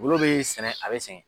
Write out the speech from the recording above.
Malo bɛ sɛnɛ a bɛ sɛnɛ.